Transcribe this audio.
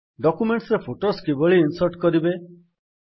document ରେ footers କିଭଳି insert କରିବେ